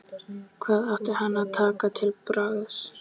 Hvað átti hann að taka til bragðs?